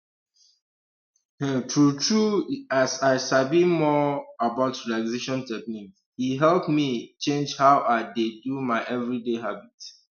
um true true as i sabi more um about relaxation technique e help me change how i dey do my everyday habit